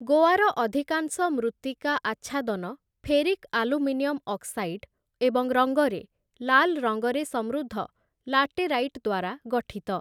ଗୋଆର ଅଧିକାଂଶ ମୃତ୍ତିକା ଆଚ୍ଛାଦନ ଫେରିକ୍ ଆଲୁମିନିୟମ୍ ଅକ୍ସାଇଡ୍ ଏବଂ ରଙ୍ଗରେ ଲାଲ୍ ରଙ୍ଗରେ ସମୃଦ୍ଧ ଲାଟେରାଇଟ୍ ଦ୍ୱାରା ଗଠିତ ।